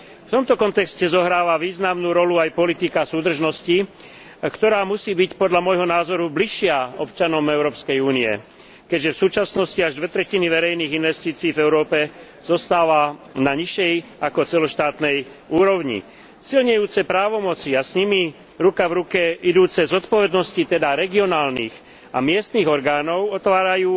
V tomto kontexte zohráva významnú rolu aj politika súdržnosti, ktorá musí byť podľa môjho názoru bližšia občanom Európskej únie, keďže v súčasnosti až dve tretiny verejných investícií v Európe zostáva na nižšej ako celoštátnej úrovni. Silnejúce právomoci a s nimi ruka v ruke idúce zodpovednosti, teda regionálnych a miestnych orgánov, otvárajú